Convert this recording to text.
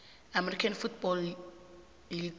american football league